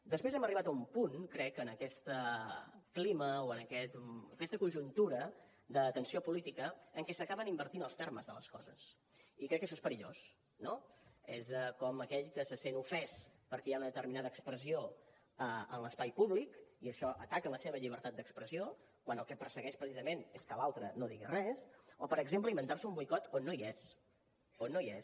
després hem arribat a un punt crec en aquest clima o en aquesta conjuntura de tensió política en què s’acaben invertint els termes de les coses i crec que això és perillós no és com aquell que se sent ofès perquè hi ha una determinada expressió en l’espai públic i això ataca la seva llibertat d’expressió quan el que persegueix precisament és que l’altre no digui res o per exemple inventar se un boicot on no hi és on no hi és